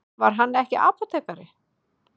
Var hann ekki apótekari?